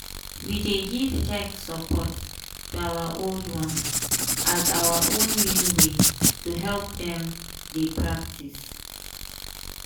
we dey give tech support to our old ones as our own new way to help dem dey practice.